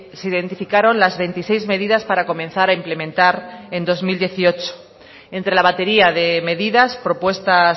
se identificaron las veintiséis medidas para comenzar a implementar en dos mil dieciocho entre la batería de medidas propuestas